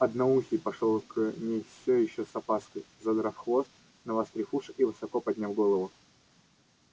одноухий пошёл к ней всё ещё с опаской задрав хвост навострив уши и высоко подняв голову